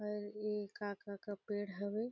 और ये का-का के पेड़ हवे।